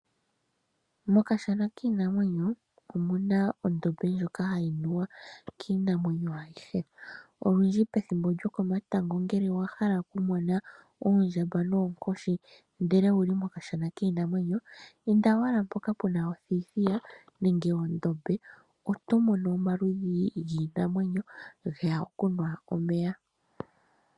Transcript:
Mokashana kiinamwenyo omu na ondombe ndjoka hayi nuwa kiinamwenyo ayihe. Olundji pethimbo lyokomatango ngele wa hala okumona oondjamba noonkoshi, ndele owu li mokashana kiinamwenyo, inda owala mpoka pu na othithiya nenge ondombe, oto mono omaludhi giinamwenyo, ge ya okunwa omeya.